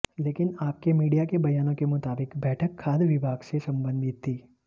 लेकिन आपके मीडिया के बयानों के मुताबिक बैठक खाद्य विभाग से संबंधित थी